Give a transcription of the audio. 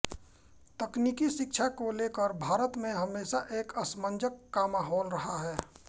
तकनीकी शिक्षा को लेकर भारत में हमेशा एक असमंजस का माहौल रहा है